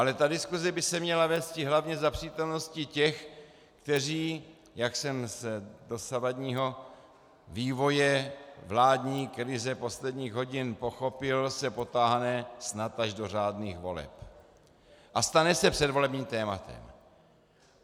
Ale ta diskuse by se měla vésti hlavně za přítomnosti těch, kteří, jak jsem z dosavadního vývoje vládní krize posledních hodin pochopil, se potáhne snad až do řádných voleb a stane se předvolebním tématem.